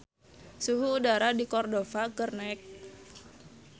Suhu udara di Cordova keur naek